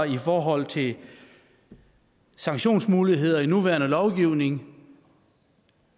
i forhold til sanktionsmuligheder i nuværende lovgivning